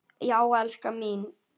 Já, elskan mín!